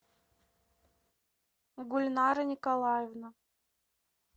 гульнара николаевна